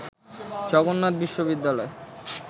জগন্নাথ বিশ্ববিদ্যালয়